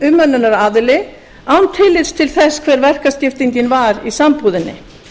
meginumönnunaraðili án tillits til þess hvernig verkaskiptingin var í sambúðinni